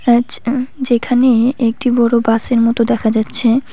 যেখানে একটি বড় বাসের মতো দেখা যাচ্ছে।